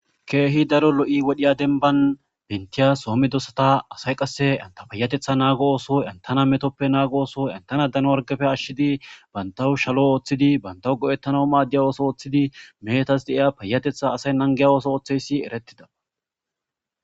keehi daro lo7i wodhiya denban bentiya soommedosata asay qasse anta payatetha naago ooso entana metoppe naago ooso entana dano argafe ashshidi bantawu shalo ooththidi bantawu go7ettana maaddiya ooso ooththidi meetas deiya payatetha asay nangiya ooso ooththeysi eretidaa